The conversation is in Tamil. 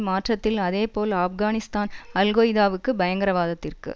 மாற்றத்தில் அதேபோல் ஆப்கானிஸ்தான் அல்கொய்தாவுக்கு பயங்கரவாதத்திற்கு